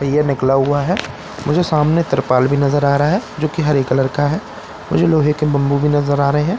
पहिया निकला हुआ है मुझे सामने त्रिपाल भी नज़र आ रहा है जो कि हरे कलर का है मुझे लोहे के बम्बू भी नज़र आ रहे है।